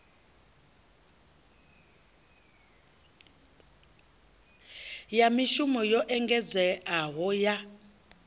ya mishumo yo engedzeaho ya